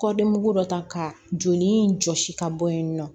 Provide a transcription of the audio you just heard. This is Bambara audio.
Kɔdimi dɔ ta ka joli jɔsi ka bɔ yen nɔ